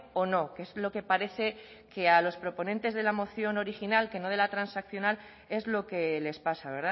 o no que es lo que parece que a los proponentes de la moción original que no de la transaccional es lo que les pasa